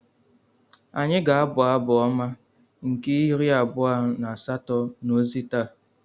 Anyị ga-abụ Abụ Ọma nke iri abua na asato n’ozi taa.